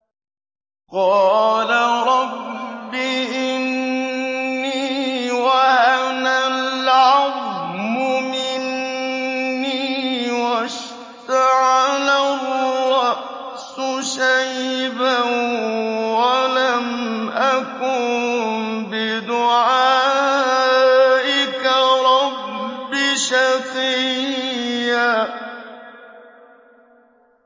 قَالَ رَبِّ إِنِّي وَهَنَ الْعَظْمُ مِنِّي وَاشْتَعَلَ الرَّأْسُ شَيْبًا وَلَمْ أَكُن بِدُعَائِكَ رَبِّ شَقِيًّا